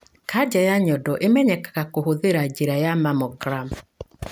Kanja ya nyondo ĩmenyekaga kũhũthĩra njĩra ya mammogram.